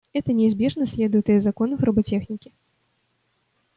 это неизбежно следует из законов роботехники